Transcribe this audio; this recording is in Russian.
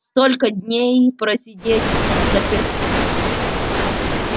столько дней просидеть взаперти